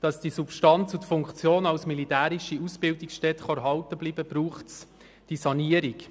Damit die Substanz und die Funktion als militärische Ausbildungsstätte erhalten bleiben kann, braucht es diese Sanierung.